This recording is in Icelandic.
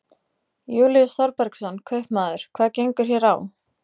Júlíus Þorbergsson, kaupmaður: Hvað gengur hér á?